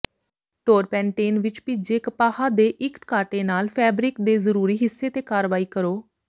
ਟੌਰਪੈਨਟੇਨ ਵਿਚ ਭਿੱਜੇ ਕਪਾਹ ਦੇ ਇਕ ਕਾਟੇ ਨਾਲ ਫੈਬਰਿਕ ਦੇ ਜ਼ਰੂਰੀ ਹਿੱਸੇ ਤੇ ਕਾਰਵਾਈ ਕਰੋ